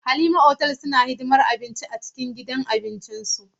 Halima hotel suna hidimar abinci na gida a cikin gidan abincin su.